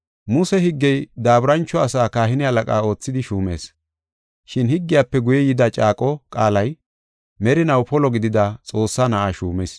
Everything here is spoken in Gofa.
Muse higgey daaburancho asaa kahine halaqa oothidi shuumees. Shin higgiyafe guye yida caaqo qaalay merinaw polo gidida Xoossaa Na7aa shuumis.